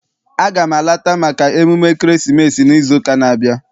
Aga m alata maka emume ekeresimesi n'izu ụka n'abia.